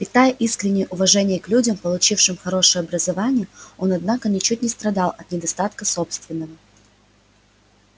питая искреннее уважение к людям получившим хорошее образование он однако ничуть не страдал от недостатка собственного